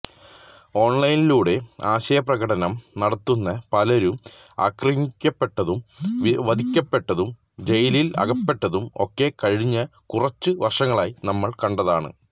ഓണ്ലൈനിലൂടെ ആശയപ്രകടനം നടത്തുന്ന പലരും ആക്രമിക്കപ്പെട്ടതും വധിക്കപ്പെട്ടതും ജയിലിൽ അകപ്പെട്ടതും ഒക്കെ കഴിഞ്ഞ കുറച്ചു വർഷങ്ങളായി നമ്മൾ കണ്ടതാണ്